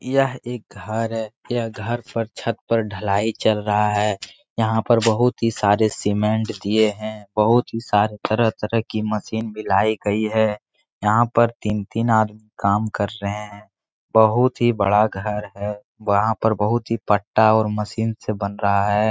यह एक घर है। यह घर पर छत पर ढ़लाई चल रहा है। यहाँ पर बहुत ही सारे सिमेन्ट दिए हैं। बहुत ही सारे तरह-तरह की मशीन भी लाई गई है। यहाँ पर तीन-तीन आदमी काम कर रहें हैं। बहुत ही बड़ा घर है। वहाँ पर बहुत ही पट्टा और मशीन से बन रहा है।